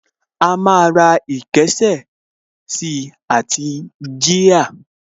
A máa ra ìkésà sí àti jíà